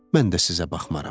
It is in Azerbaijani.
Mən də sizə baxmaram.